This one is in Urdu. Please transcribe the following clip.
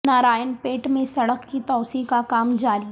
نارائن پیٹ میں سڑک کی توسیع کا کام جاری